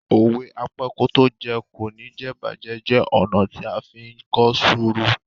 Òwe "Apẹ́kótójẹ kò ní jẹ̀'bàjẹ́" jẹ́ ọ̀nà tí a fí ń kọ́ sùúrù.